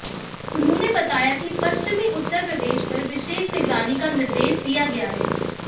उन्होंने बताया कि पश्चिमी उत्तर प्रदेश पर विशेष निगरानी का निर्देश दिया गया है